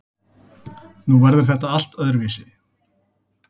Nú verður þetta allt öðruvísi.